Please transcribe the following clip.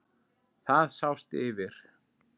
Það sást yfir